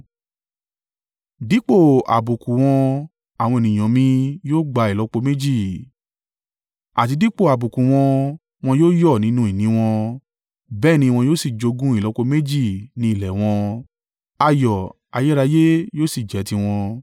Dípò àbùkù wọn àwọn ènìyàn mi yóò gba ìlọ́po méjì, àti dípò àbùkù wọn wọn yóò yọ̀ nínú ìní wọn; bẹ́ẹ̀ ni wọn yóò sì jogún ìlọ́po méjì ní ilẹ̀ wọn, ayọ̀ ayérayé yóò sì jẹ́ tiwọn.